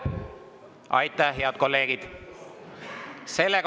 Aitäh, head kolleegid!